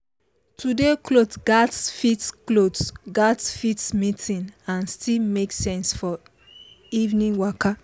today cloth gatz fit cloth gatz fit meeting and still make sense for evening waka